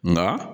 Nka